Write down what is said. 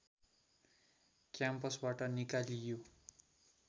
क्याम्पसबाट निकालियो